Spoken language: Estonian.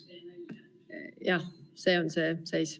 Selline on see seis.